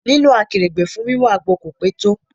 Lílọ Akèrègbè fún wí wọn àgbo kò pé tó.